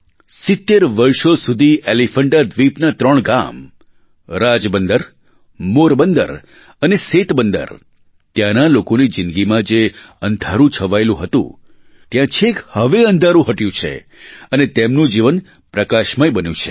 70 વર્ષો સુધી એલીફૅન્ટા દ્વીપનાં ત્રણ ગામ રાજબંદર મોરબંદર અને સેતબંદર ત્યાંના લોકોની જિંદગીમાં જે અંધારું છવાયેલું હતું ત્યાં છેક હવે અંધારું હટ્યું છે અને તેમનું જીવન પ્રકાશમય બન્યું છે